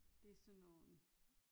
Det er sådan nogle